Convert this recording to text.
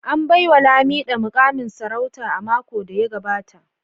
An baiwa Lamido mukamin sarauta a makon da ya gabata